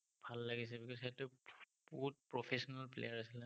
ভাল লাগিছে because সেইটো বহুত professional player আছিলে।